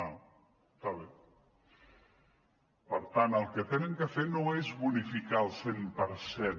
per tant el que han de fer no és bonificar el cent per cent